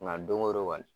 Nka don o don kɔni